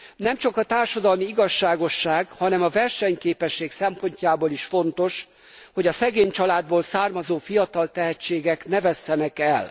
Nemcsak a társadalmi igazságosság, hanem a versenyképesség szempontjából is fontos, hogy a szegény családból származó fiatal tehetségek ne vesszenek el.